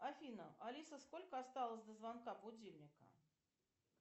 афина алиса сколько осталось до звонка будильника